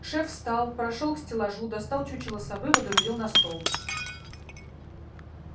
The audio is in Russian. шеф встал прошёл к стеллажу достал чучело совы водрузил на стол